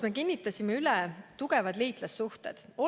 Meie kinnitasime tugevad liitlassuhted NATO‑s üle.